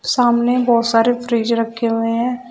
सामने बहुत सारे फ्रिज रखें हुए हैं।